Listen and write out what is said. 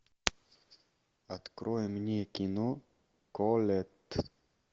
открой мне кино колетт